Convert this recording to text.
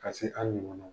Ka se an ɲɔgɔn ma